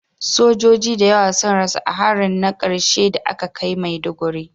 Sojoji da yawa sun rasu a harin na karshe da aka kai a Maiduguri